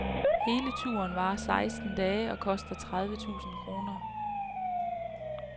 Hele turen varer seksten dage og koster tredive tusind kroner.